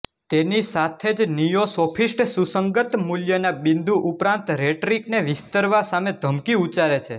તેની સાથે જ નિયો સોફીસ્ટ સુસંગત મૂલ્યના બિંદુ ઉપરાંત રેટરિકને વિસ્તરવા સામે ધમકી ઉચ્ચારે છે